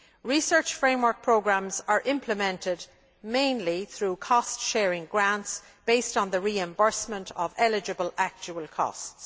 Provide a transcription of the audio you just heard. Research framework programmes are implemented mainly through cost sharing grants based on the reimbursement of eligible actual costs.